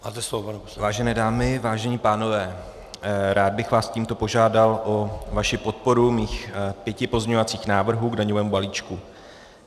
Vážené dámy, vážení pánové, rád bych vás tímto požádal o vaši podporu svých pěti pozměňovacích návrhů k daňovému balíčku.